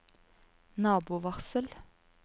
nabovarsel